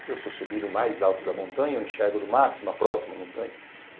Se eu subir no mais alto da montanha, eu enxergo no máximo a próxima montanha?